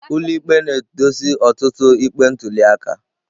Ụlọikpe na-edozi ọtụtụ ikpe ntuli aka.